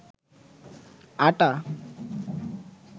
আটা